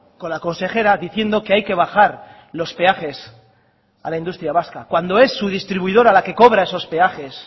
con la consejera diciendo que hay que bajar los peajes a la industria vasca cuando es su distribuidora la que cobra esos peajes